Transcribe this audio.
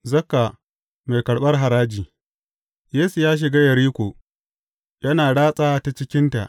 Zakka mai karɓar haraji Yesu ya shiga Yeriko, yana ratsa ta cikinta.